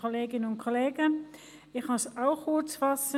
Ich kann mich auch kurz fassen.